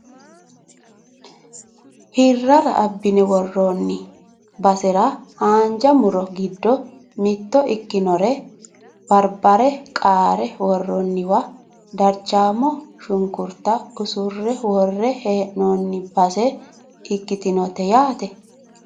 hirrara abbine worroonni basera haanja muro giddo mitto ikkinore barbare qaara worroonniwa darchaamo shunkurta usurre worre hee'noonni base ikkitinote yaate